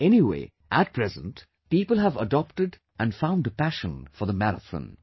Anyway, at present, people have adopted and found a passion for the marathon